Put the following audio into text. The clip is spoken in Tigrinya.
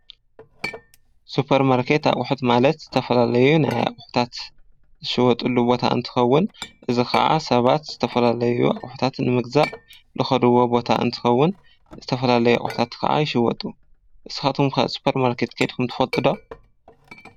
ሱፖር ማርኬት ኣቝሑት ማለት፣ ዝተፈላለዩ ናይ ኣቝሑታት ዝሽየጡሉ ቦታ እንትኸውን እዚ ኸዓ ሰባት ዝተፈላለዩ ኣቝሕታት ንምግዛእ ዝኸዱዎ ቦታ እንትኸውን ዝተፈላለይ ኣቝሕታት ኸዓ ይሽየጡ። ንስካትኩም ከ ሱፖር ማርኬት ከድኹም ትፈጥዶ?